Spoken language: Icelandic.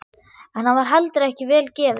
En hann var heldur ekki vel gefinn.